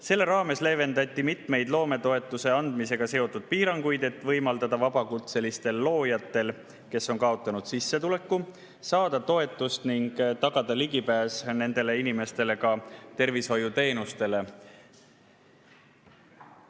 Selle raames leevendati mitmeid loometoetuse andmisega seotud piiranguid, et võimaldada vabakutselistel loojatel, kes on kaotanud sissetuleku, saada toetust ning tagada nendele inimestele ligipääs ka tervishoiuteenustele.